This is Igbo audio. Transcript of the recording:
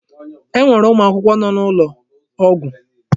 E nwere ụmụ akwụkwọ nọ n'ụlọ ọgwụ.